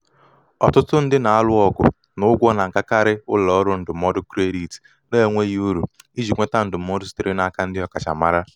ọtụtụ ndị na-alụ ọgụ na ụgwọ na-agakarị ụlọ ọrụ ndụmọdụ kredit na-enweghị uru iji nweta ndụmọdụ sitere n'aka ndị ọkachamara.